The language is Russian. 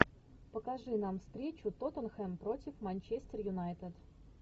покажи нам встречу тоттенхэм против манчестер юнайтед